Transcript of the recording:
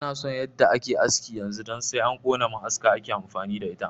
Ina son yadda ake haski yanzu don sai an kona ma'aska ake amfani da ita